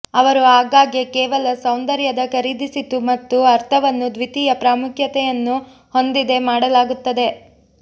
ಅವರು ಆಗಾಗ್ಗೆ ಕೇವಲ ಸೌಂದರ್ಯದ ಖರೀದಿಸಿತು ಮತ್ತು ಅರ್ಥವನ್ನು ದ್ವಿತೀಯ ಪ್ರಾಮುಖ್ಯತೆಯನ್ನು ಹೊಂದಿದೆ ಮಾಡಲಾಗುತ್ತದೆ